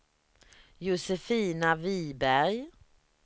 Josefina Viberg